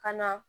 Ka na